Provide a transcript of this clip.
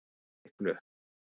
Ferstiklu